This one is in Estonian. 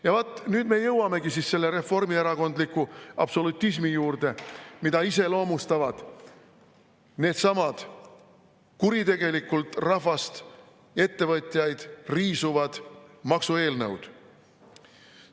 Ja vaat nüüd me jõuamegi selle reformierakondliku absolutismi juurde, mida iseloomustavad needsamad kuritegelikult rahvast ja ettevõtjaid riisuvad maksueelnõud.